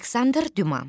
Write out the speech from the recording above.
Aleksandr Düma.